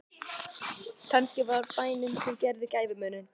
Kannski var það bænin sem gerði gæfumuninn.